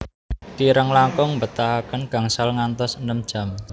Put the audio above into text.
Kirang langkung mbetahaken gangsal ngantos enem jam